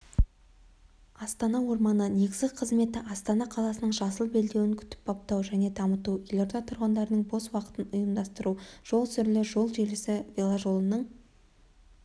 астана орманы негізгі қызметі астана қаласының жасыл белдеуін күтіп-баптау және дамыту елорда тұрғындарының бос уақытын ұйымдастыру жол сүрле жол желісі веложолының